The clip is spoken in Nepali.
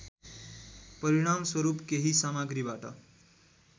परिणामस्वरूप केही सामग्रीबाट